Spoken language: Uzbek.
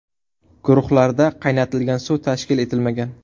Guruhlarda qaynatilgan suv tashkil etilmagan.